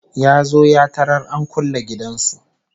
Ya zo ya tarar an kulle gidan su